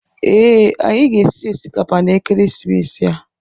Ee, anyị ga-esi osikapa na ekeresimesi a.